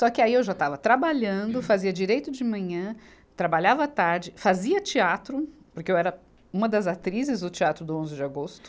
Só que aí eu já estava trabalhando, fazia Direito de manhã, trabalhava à tarde, fazia teatro, porque eu era uma das atrizes do Teatro do onze de agosto.